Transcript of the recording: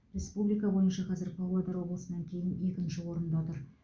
республика бойынша қазір павлодар облысынан кейін екінші орында тұр